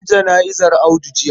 An yi jana'izar Audu jiya.